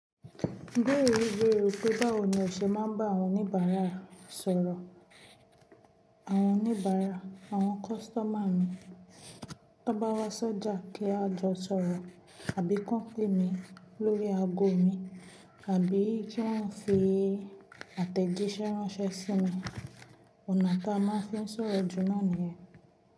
Gbé ìwé wé o pé báwo ni o ṣe máa ń bá àwọn oníbàárà sọ̀rọ̀. Àwọn oníbàárà, àwọn kọ́sítọ́mà mi, tó bá wá ṣọ́jà kí a jọ sọ̀rọ̀ àbí company mi lórí ago mi àbí kí wọ́n fi àtẹ̀jíṣẹ́ ránṣẹ́ sí mi, ọ̀nà tá a máa ń fi sọ̀rọ̀ jù náà ni.